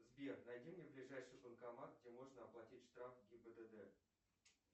сбер найди мне ближайший банкомат где можно оплатить штраф гибдд